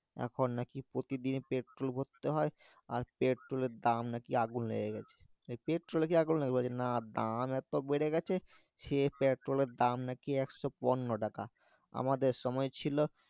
এখন নাকি প্রতি দিনই পেট্রল ভরতে হয় আর পেট্রোলের দাম নাকি আগুন হয়ে গেছে এই পেট্রোলে কি আগুন লাগবে না দাম এত বেড়ে গেছে সে পেট্রোলের দাম নাকি একশো পনোরো টাকা আমাদের সময় ছিল